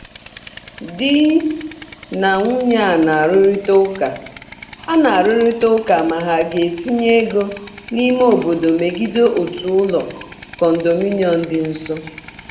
Di na nwunye a na-arụrịta ụka a na-arụrịta ụka ma ha ga-etinye ego n'ime obodo megide otu ụlọ condominium dị nso.